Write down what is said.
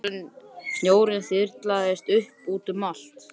Snjórinn þyrlaðist upp og út um allt.